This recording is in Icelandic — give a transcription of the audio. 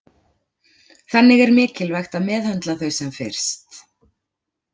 Þannig er mikilvægt að meðhöndla þau sem fyrst.